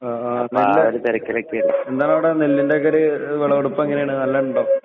ആഹ് ആഹ് നെല്ല് എന്താണവിടെ നെല്ലിൻറെ ഒക്കെ ഒരു വിളവെടുപ്പ് എങ്ങനെയാണ് നെല്ലുണ്ടോ?